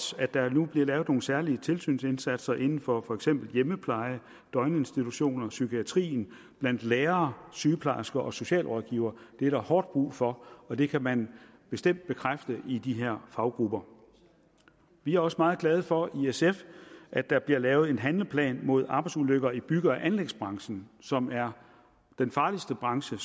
at der nu bliver lavet nogle særlige tilsynsindsatser inden for for eksempel hjemmepleje døgninstitutioner psykiatri og blandt lærere sygeplejersker og socialrådgivere det er der hårdt brug for og det kan man bestemt bekræfte i de her faggrupper vi er også meget glade for i sf at der bliver lavet en handleplan mod arbejdsulykker i bygge og anlægsbranchen som er den farligste branche